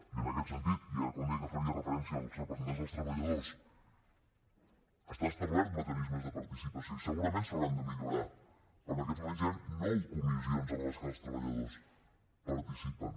i en aquest sentit i ara quan deia que faria referència als representants dels treballadors estan establerts mecanismes de participació i segurament s’hauran de millorar però en aquests moments hi han nou comissions en les que els treballadors participen